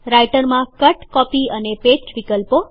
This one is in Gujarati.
રાઈટરમાં કટકોપી અને પેસ્ટ વિકલ્પો